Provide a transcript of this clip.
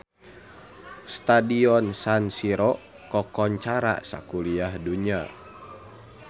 Stadion San Siro kakoncara sakuliah dunya